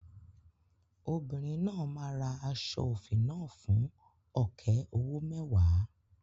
Obìnrin náà máa ra aṣọ òfì náà fún ọ̀kẹ́ owó mẹ́wàá.